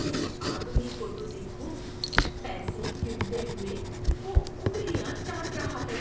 اس آدمی کو تو دیکھو۔ پیسے گنتے ہوئے وہ انگلیاں چاٹ رہا ہے۔